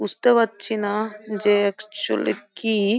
বুঝতে পারছি না যে অ্যাকচুয়ালি কি --